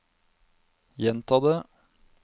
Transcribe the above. gjenta det